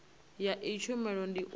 ya iyi tshumelo ndi u